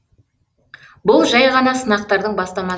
бұл жәй ғана сынақтардың бастамасы